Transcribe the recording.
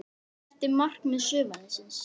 Hvert var markmið sumarsins?